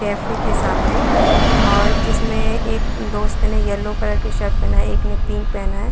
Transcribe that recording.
Cafe के सामने और जिसमें एक दोस्त ने येलो कलर की शर्ट पेहना है। एक ने पिंक पेहना है।